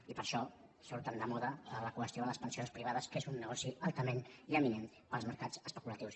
i per això surt tan de moda la qüestió de les pensions privades que és un negoci altament llaminer per als mercats especulatius